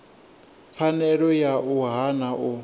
pfanelo ya u hana u